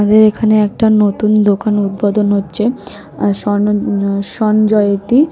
আমাদের এখানে একটা নতুন দোকান উদ্বোধন হচ্ছে আ সনন সঞ্জয়তি। ।